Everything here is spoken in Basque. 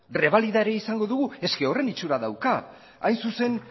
rebalida ere izango dugu horren itxura dauka hain zuzen